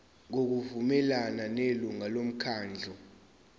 ngokuvumelana nelungu lomkhandlu